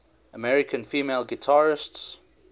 american female guitarists